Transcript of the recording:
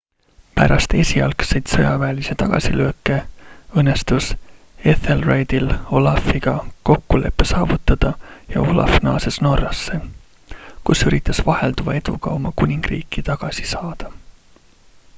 pärast esialgseid sõjaväelisi tagasilööke õnnestus ethelredil olafiga kokkulepe saavutada ja olaf naases norrasse kus üritas vahelduva eduga oma kuningriiki tagasi saada